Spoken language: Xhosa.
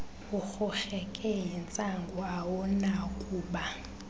urhurheke yintsangu awunakuba